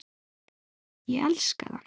Ég elska það.